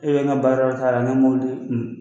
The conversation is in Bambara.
E bɛ ka baara k'a ne mobilitigi un